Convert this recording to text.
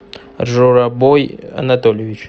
журабой анатольевич